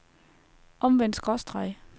omvendt skråstreg